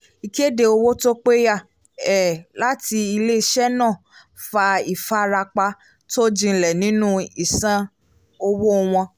ìkéde owó tó péyà um láti ilé-iṣẹ́ náà fa ìfarapa tó jinlẹ̀ nínú ìsan owó wọn